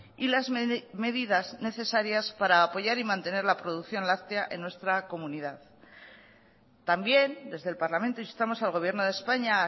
y las medidas necesarias para apoyar y mantener la producción láctea en nuestra comunidad también desde el parlamento instamos al gobierno de españa a